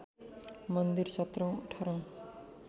मन्दिर सत्रौँ अठारौँ